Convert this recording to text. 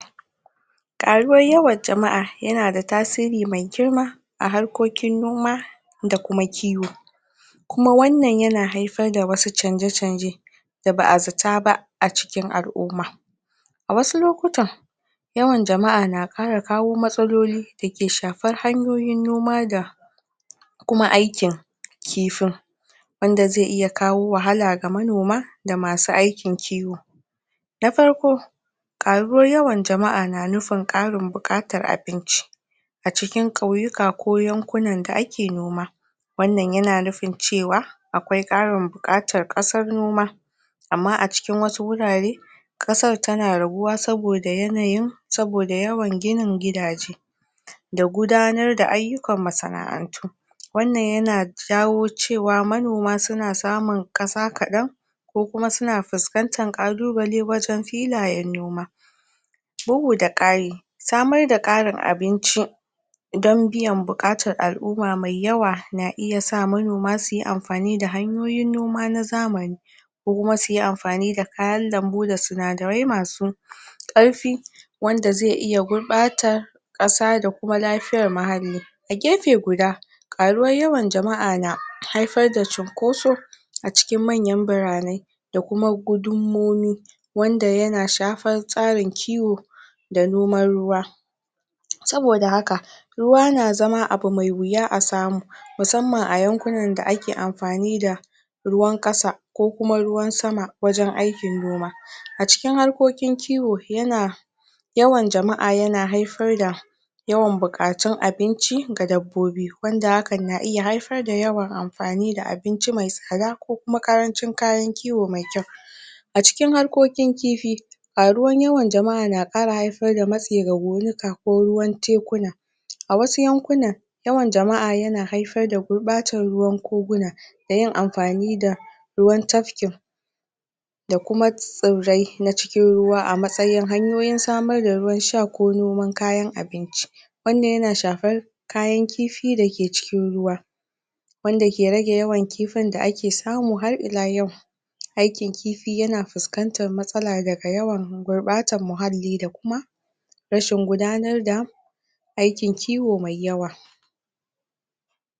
Karuwar yawan jama'a yana tasiri mai girma a harkokin noma da kuma kiwo, kuma wannan yana haifar da wasu canje-canje da ba'a zata ba a cikin al'umma, a wasu lokutan yawan jama'a na kara kawo matsaloli dake shafar hanyoyin noma da kuma aikin kifin, wanda zai iya kawo wahala ga manoma da masu aikin kiwo, na farko farko karuwar yawan jama'a na nufin karin bukatar abinci a cikin kauyuka ko yankunan da ake noma, wannan yana nufin cewa akwai karin bukatar kasar noma amma acikin wasu wurare kasar tana rabuwa saboda yanayin-saboda yawan ginin gidaje, da gudanar da ayyukan masana'antu, wannan yana jawo cewa manoma suna samun kasa kadan ko kuma suna fuskantar kalubale wajen filayen noma. Bugu da kari samar da karin abinci don biyan bukatar al'umma mai yawa na iya sa manoma su yi amfani da hanyoyin noma na zamani, ko kuma suyi amfani da kayan lambu da sinadarai masu karfi wanda zai iya gurbatar kasa da kuma lafiyar muhalli, a gefe guda karuwar yawan jama'a na haifar da cunkoso a cikin manyan birane da kuma gudunmawoyi wanda yana shafar tsarin kiwo da noman ruwa saboda haka ruwa na zama abu mai wuya a samu musamman a yankunan da ake amfani da ruwan kasa kasa ko kuma ruwan sama wajen aikin noma a cikin harkokin kiwo yana yawan jama'a yana haifar da yawan bukatun ainci ga dabbobi wanda hakan yana iya haifar da yawan amfani da abinci mai tsada da kuma karancin kayan kiwo mai kyau. A cikin harkokin kifi, karuwar yawan jama'a na kara haifar da matsi ga gonuka ko ruwan tekuna, a wasu yankuna yawan jama'a yana haifar da bacin ruwan koguna da yin amfani da ruwan tafkin da kuma tsirrai na cikin ruwa a matsayin hanyoyon samar da ruwan sha ko noman kayan abinci, wannan yana shafar kayan kifi dake cikin ruwa wanda ke rage yawan kifin da ake samu har ila yau aikin kifi yana fuskantar matsala daga yawan gurbatar muhalli da kuma rashin gudanar da